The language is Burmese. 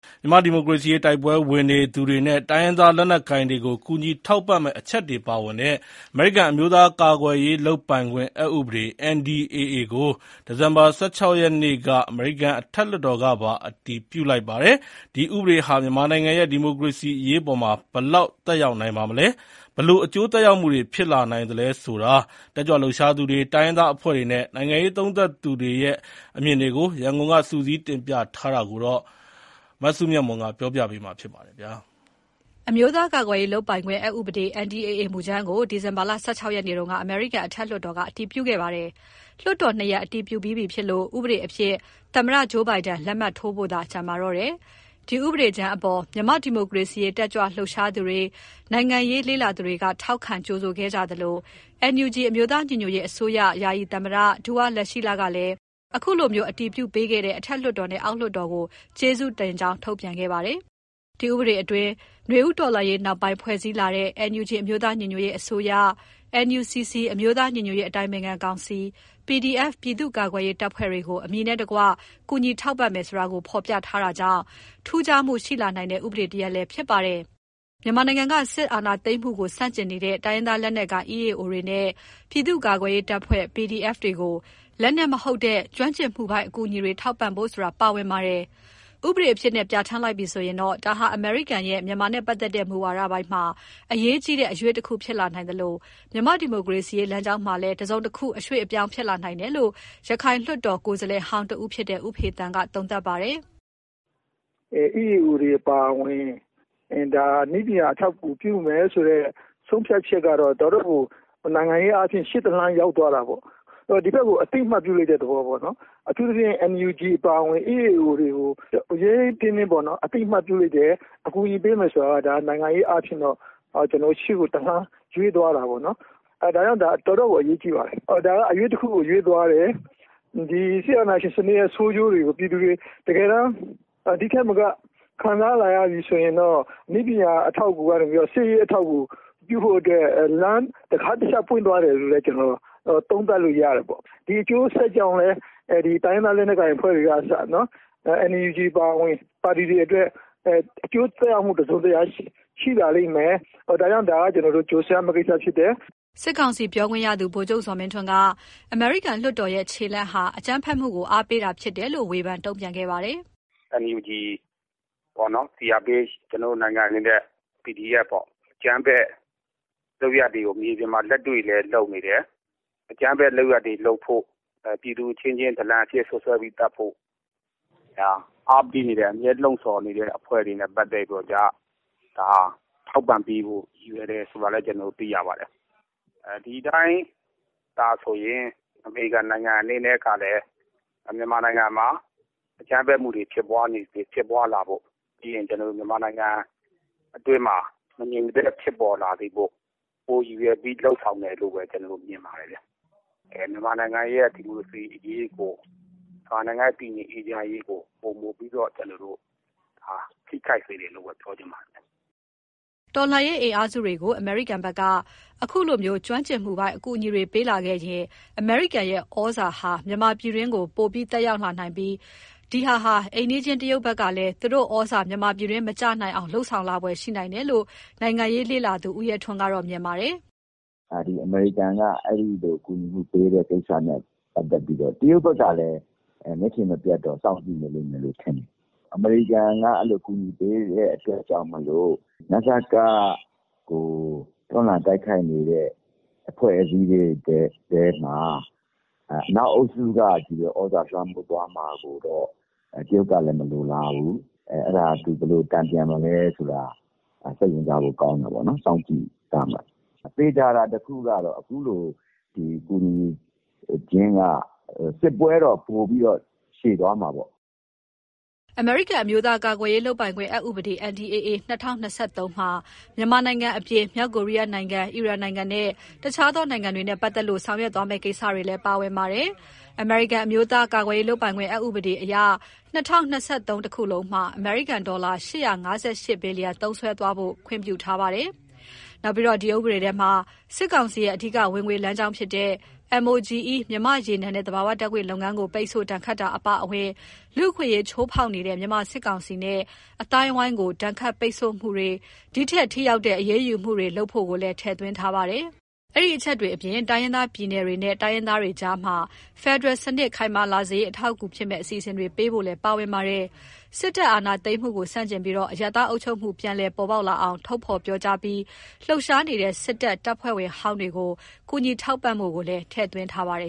မြန်မာ့ဒီမိုကရေစီရေး တိုက်ပွဲဝင်နေသူတွေနဲ့ တိုင်းရင်းသားလက်နက်ကိုင်တွေကို ကူညီထောက်ပံ့မယ့်အချက်တွေပါဝင်တဲ့ အမေရိကန် အမျိုးသားကာကွယ်ရေးလုပ်ပိုင်ခွင့် အက်ဥပဒေ (NDAA) ကို ဒီဇင်ဘာ ၁၆ ရက်နေ့က အမေရိကန်အထက်လွှတ်တော်ကပါ အတည်ပြုလိုက်ပါတယ်။ ဒီဥပဒေဟာ မြန်မာနိုင်ငံရဲ့ ဒီမိုကရေစီအရေးအပေါ် ဘယ်လောက်သက်ရောက်နိုင်ပါမလဲ၊ ဘယ်လိုအကျိုးသက်ရောက်မှုတွေ ဖြစ်လာနိုင်သလဲဆိုတာ တက်ကြွလှုပ်ရှားသူတွေ၊ တိုင်းရင်းသားအဖွဲ့တွေနဲ့ နိုင်ငံရေးသုံးသပ်သူတွေအမြင် ရန်ကုန်က စုစည်းတင်ပြထားတာကို မစုမြတ်မွန်က တင်ပြပေးထားပါတယ်။ အမျိုးသားကာကွယ်ရေးလုပ်ပိုင်ခွင့်အက်ဥပဒေ (NDAA) မူကြမ်းကို ဒီဇင်ဘာ ၁၆ ရက်နေ့က အမေရိကန်အထက်လွှတ်တော်က အတည်ပြုခဲ့တာပါ။ လွှတ်တော်နှစ်ရပ် အတည်ပြုပြီးဖြစ်လို့ ဥပဒေအဖြစ် သမ္မတဂျိုးဘိုင်ဒန် လက်မှတ်ထိုးဖို့သာ ကျန်ရှိပါတော့တယ်။ ဒီဥပဒေအပေါ် မြန်မာ့ဒီမိုကရေစီတက်ကြွလှုပ်ရှားသူတွေ၊ နိုင်ငံရေးလေ့လာသူတွေက ထောက်ခံကြိုဆိုခဲ့ကြသလို NUG အမျိုးသားညီညွတ်ရေးအစိုးရ ယာယီသမ္မတ ဒူဝါးလရှီလကလည်း ဒီလို အတည်ပြုပေးခဲ့တဲ့ အထက်လွှတ်တော်နဲ့ အောက်လွှတ်တော်ကို ကျေးဇူးတင်ကြောင်း ဖော်ပြခဲ့ပါတယ်။ ဒီဥပဒေတွင်းမှာ နွေဦးတော်လှန်ရေးနောက်ပိုင်း ဖွဲ့စည်းလာတဲ့ NUG အမျိုးသားညီညွတ်ရေးအစိုးရ၊ NUCC အမျိုးသားညီညွတ်ရေး အတိုင်ပင်ခံကောင်စီ၊ PDF ပြည်သူ့ကာကွယ်ရေးတပ်ဖွဲ့တွေကို အမည်နဲ့တကွ ကူညီထောက်ပံ့မယ်ဆိုတာကို ဖော်ပြထားတာကြောင့် ထူးခြားမှုရှိလာတဲ့ ဥပဒေတရပ်လည်းဖြစ်ပါတယ်။ မြန်မာနိုင်ငံက စစ်အာဏာသိမ်းမှုကို ဆန့်ကျင်နေတဲ့ တိုင်းရင်းသားလက်နက်ကိုင် EAO တွေနဲ့ ပြည်သူ့ ကာကွယ်ရေးတပ်ဖွဲ့ PDF တွေကို လက်နက်မဟုတ်တဲ့ နည်းပညာအကူအညီတွေထောက်ပံ့ဖို့ဆိုတာ ပါဝင်ပါတယ်။ ဥပဒေအဖြစ် အတည်ဖြစ်လာပြီဆိုရင် ဒါဟာ အမေရိကန်ရဲ့ မြန်မာနဲ့ပတ်သက်တဲ့ မူဝါဒပိုင်းမှာ အရေးကြီးတဲ့အရွေ့တခုဖြစ်လာနိုင်သလို မြန်မာ့ဒီမိုကရေစီလမ်းကြောင်းမှာလည်း အရွေ့တခု ဖြစ်လာနိုင်မယ်လို့ ရခိုင်လွှတ်တော် ကိုယ်စားလှယ်ဟောင်းတဦးဖြစ်တဲ့ ဦးဖေသန်းက သုံးသပ်ပါတယ်။ “EAO တွေအပါအဝင် နည်းပညာအထောက်အကူပြုမယ်ဆိုတဲ့ဆုံးဖြတ်ချက်ကတော့ တော်တော့်ကို နိုင်ငံရေးအားဖြင့် ရှေ့တလှမ်းရောက်သွားတာပေါ့။ ဒီဘက်ကို အသိအမှတ်ပြုလိုက်တဲ့သဘောပေါ့နော်။ အထူးသဖြင့် NUG အပါအဝင် EAO တွေကို ရဲရဲတင်းတင်းပေါ့နော်-အသိအမှတ်ပြုလိုက်တယ်၊ အကူအညီပေးမယ်ဆိုတာက ဒါက နိုင်ငံရေးအားဖြင့်တော့ ရှေ့ကိုတလှမ်းရွေ့သွားတာပေါ့နော်။ ဒါကြောင့် ဒါက တော်တော့်ကို အရေးကြီးပါတယ်။ ဒါက အရွေ့တခုကို ရွေ့သွားတယ်။ စစ်အာဏာရှင်စနစ်ရဲ့ဆိုးကျိုးတွေကို ပြည်သူတွေ တကယ်တန်း ဒိထက်မက ခံစားလာရပြီဆိုရင်တော့ နည်းပညာအထောက်အကူကနေပြီးတော့ စစ်ရေးအထောက်အကူပြုဖို့အတွက် တခါးတချပ်ပွင့်သွားပြီလို့လည်း ကျနော် သုံးသပ်လို့ရတယ်ပေါ့။ ဒီအကျိုးဆက်ကြောင့်လည်း တိုင်းရင်းသားလက်နက်ကိုင်အဖွဲ့တွေကအစ NUG အပါအဝင် ပါတီတွေအတွက် အကျိုးသက်ရောက်မှုတစုံတရာ ရှိလာလိမ့်မယ်၊ ဒါကြောင့် ဒါက ကျနော်တို့ ကြိုဆိုရမယ့်ကိစ္စ ဖြစ်တယ်။” စစ်ကောင်စီ ပြောခွင့်ရသူ ဗိုလ်ချုပ်ဇော်မင်းထွန်းက ဒီ အမေရိကန်ရဲ့ခြေလှမ်းဟာ အကြမ်းဖက်မှုတွေကို အားပေးတာဖြစ်တယ်လို့ ဝေဖန်တုံ့ပြန်ခဲ့ပါတယ်။ “NUG ပေါ့နော်၊ CRPH - ကျနော်တို့နိုင်ငံအနေနဲ့ PDF ပေါ့၊ အကြမ်းဖက်လုပ်ရပ်တွေကို မြေပြင်မှာလက်တွေ့လည်းလုပ်နေတယ်။ အကြမ်းဖက်လုပ်ရပ်တွေလုပ်ဖို့ ပြည်သူအချင်းချင်း ဒလံအဖြစ် စွပ်စွဲပြီး သတ်ဖို့ အားပေးနေတဲ့၊ အမြဲ လှုံ့ဆော်နေတဲ့အဖွဲ့တွေနဲ့ပတ်သက်ပြီးတော့ ထောက်ပံ့ပေးဖို့ရည်ရွယ်တယ်ဆိုတာလည်း ကျနော်တို့သိရပါတယ်။ ဒီအတိုင်းသာဆိုရင် အမေရိကန်နိုင်ငံအနေနဲ့ကလည်း မြန်မာနိုင်ငံမှာ အကြမ်းဖက်မှုတွေဖြစ်ပွါးလာဖို့၊ ပြီးရင် ကျနော်တို့မြန်မာနိုင်ငံအတွင်းမှာ မငြိမ်မသက်ဖြစ်ပေါ်လာစေဖို့ ပိုရည်ရွယ်ပြီး လုပ်ဆောင်တယ်လို့ပဲ ကျနော်တို့ မြင်ပါတယ်ဗျ။ မြန်မာနိုင်ငံရဲ့ ဒီမိုကရေစီအရေးကို၊ မြန်မာနိုင်ငံရဲ့တည်ငြိမ်အေးချမ်းရေးကို ပိုမိုပြီးတော့ ကျနော်တို့ ထိခိုက်စေတယ်လို့ပဲ ပြောချင်ပါတယ်ဗျား။” တော်လှန်ရေးအင်အားစုတွေကို အမေရိကန်ဘက်က အခုလို နည်းပညာအကူအညီပေးမှုတွေဖြစ်လာရင် အမေရိကန်ရဲ့ဩဇာဟာ မြန်မာပြည်တွင်း ပိုမိုသက်ရောက်လာနိုင်ပြီး ဒီဟာအတွက် အိမ်နီးချင်း တရုတ်ဘက်ကလည်း သူတို့ ဩဇာမြန်မာပြည်တွင်းမကျနိုင်အောင် လုပ်ဆောင်လာနိုင်ဖွယ်ရှိလာနိုင်တယ်လို့ နိုင်ငံရေးလေ့လာသုံးသပ်သူ ဦးရဲထွန်းကတော့ မြင်ပါတယ်။ “အမေရိကန်က အဲဒီလိုအကူအညီပေးတဲ့ကိစ္စနဲ့ပတ်သက်ပြီးတော့ တရုတ်ဘက်ကလည်း မျက်ခြေမပြတ်တော့ စောင့်ကြည့်နေလိမ့်မယ်လို့ ထင်တယ်။ အမေရိကန်က အဲလိုအကူအညီပေးတဲ့အတွက်ကြောင့်မို့လို့ နစက ကို တွန်းလှန်တိုက်ခိုက်နေတဲ့အဖွဲ့အစည်းတွေထဲမှာ အနောက်အုပ်စုကချည့်ပဲ သြဇာလွှမ်းမိုးသွားမှာကိုတော့ တရုတ်ကလည်း မလိုလားဘူး။ အဲဒါကို သူ ဘယ်လို တန်ပြန်မလဲဆိုတာ စိတ်ဝင်စားဖို့ကောင်းတယ်ပေါ့နော်၊ စောင့်ကြည့်သွားမယ်။ သေချာတာတခုကတော့ အခုလို ကူညီခြင်းက စစ်ပွဲတော့ ပိုပြီးတော့ ရှည်သွားမှာပေါ့။” အမေရိကန် အမျိုးသားကာကွယ်ရေးလုပ်ပိုင်ခွင့် အက်ဥပဒေ (NDAA) - ၂၀၂၃ မှာ မြန်မာနိုင်ငံအပြင် မြောက်ကိုရီးယားနိုင်ငံ၊ အီရန်နိုင်ငံနဲ့ တခြားသောနိုင်ငံတွေနဲ့ပတ်သက်လို့ ဆောင်ရွက်သွားမယ့်ကိစ္စတွေလည်း ပါဝင်ပါတယ်။ အမေရိကန် အမျိုးသားကာကွယ်ရေးလုပ်ပိုင်ခွင့် အက်ဥပဒေ NDAA အရ ၂၀၂၃ တခုလုံးမှာ အမေရိကန်ဒေါ်လာ ၈၅၈ ဘီလီယံ သုံးစွဲသွားဖို့ ခွင့်ပြုထားပါတယ်။ နောက်ပြီး ဒီဥပဒေထဲမှာ စစ်ကောင်စီရဲ့ အဓိက ဝင်ငွေလမ်းကြောင်းဖြစ်တဲ့ MOGE မြန်မာ့ရေနံနဲ့ သဘာဝဓာတ်ငွေ့လုပ်ငန်းကို ပိတ်ဆို့ဒဏ်ခတ်တာအပါအဝင် လူ့အခွင့်အရေး ချိုးဖေါက်နေတဲ့ မြန်မာစစ်ကောင်စီနဲ့ အဝန်းအဝိုင်းကို ဒဏ်ခတ်ပိတ်ဆို့မှုတွေ ဒီထပ်ထိ ရောက်တဲ့ အရေးယူမှုတွေပါ လုပ်ဖို့ကိုလည်း ထည့်သွင်းထားပါတယ်။ အဲဒီအချက်တွေအပြင် တိုင်းရင်းသားပြည်နယ်တွေနဲ့ တိုင်းရင်းသားတွေကြားမှာ ဖယ်ဒရယ်စနစ် ခိုင်မာလာစေရေး အထောက်ကူဖြစ်မယ့် အစီအစဉ်တွေပေးဖို့လည်း ပါဝင်ပါတယ်။ စစ်တပ် အာဏာသိမ်းမှုကိုဆန့်ကျင်ပြီး အရပ်သား အုပ်ချုပ်မှု ပြန်လည်ပေါ်ပေါက်လာအောင် ထုတ်ဖော်ပြောကြားပြီး လှုပ်ရှားနေတဲ့ စစ်တပ် တပ်ဖွဲ့ဝင်ဟောင်းတွေကို ကူညီထောက်ပံ့ဖို့ကိုလည်း ထည့်ထားပါတယ